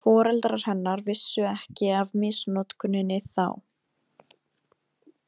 Foreldrar hennar vissu ekki af misnotkuninni þá.